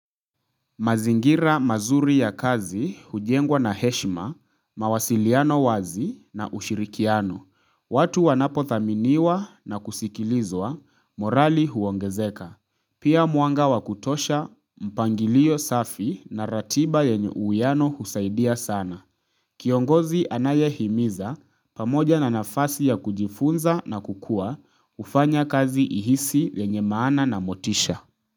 Mazingira mazuri ya kazi, hujengwa na heshima, mawasiliano wazi na ushirikiano. Watu wanapo thaminiwa na kusikilizwa, morali huongezeka. Pia muanga wakutosha, mpangilio safi na ratiba yenye uwiano husaidia sana. Kiongozi anaye himiza, pamoja na nafasi ya kujifunza na kukua, hufanya kazi ihisi yenye maana na motisha.